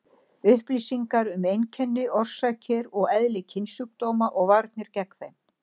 Upplýsingar um einkenni, orsakir og eðli kynsjúkdóma og varnir gegn þeim.